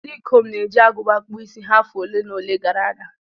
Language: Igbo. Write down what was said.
Ndị ikom na-eji agụba kpụọ isi ha afọ ole na ole gara aga.